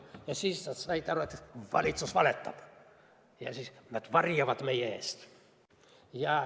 Ja siis said inimesed aru, et valitsus valetab ja varjab midagi nende eest.